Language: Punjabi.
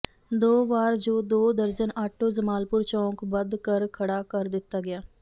ਦੋ ਵਾਰ ਜੋ ਦੋ ਦਰਜਨ ਆਟੋ ਜਮਾਲਪੁਰ ਚੌਕ ਬਦ ਕਰ ਖੜਾ ਕਰ ਦਿੱਤਾ ਗਿਆ